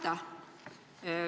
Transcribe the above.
Aitäh!